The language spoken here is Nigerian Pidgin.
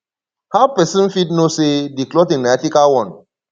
how pesin fit know say di clothing na ethical one